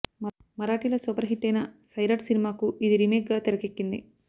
మరాఠీలో super హిట్టైన సైరాఠ్ సినిమాకు ఇది రీమేక్ గా తెరకెక్కింది